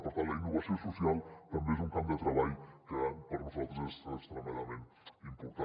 per tant la innovació social també és un camp de treball que per nosaltres és extremadament important